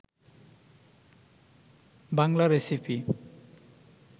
Bangla recipe